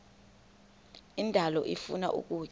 indalo ifuna ukutya